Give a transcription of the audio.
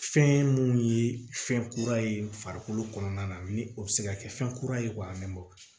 Fɛn ye mun ye fɛn kura ye farikolo kɔnɔna na ni o bɛ se ka kɛ fɛn kura ye k'a mɛnbɔ